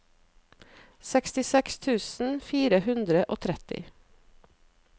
sekstiseks tusen fire hundre og tretti